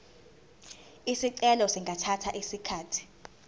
izicelo zingathatha isikhathi